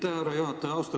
Aitäh, härra juhataja!